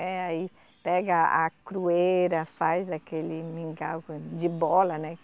Eh, aí pega a crueira, faz aquele mingau de bola, né?